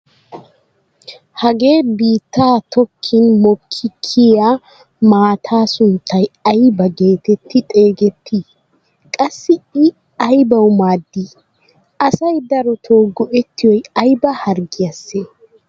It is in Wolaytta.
Hagee bittaa tokkin mokki kiyiyaa maataa sunttay aybaa getetti xeegettii? Qassi i aybawu maaddii? Asay a darotoo go"ettiyoy ayba harggiyaasee?